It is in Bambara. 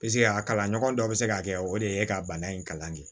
Piseke a kalan ɲɔgɔn dɔ bɛ se ka kɛ o de ye ka bana in kalan kɛ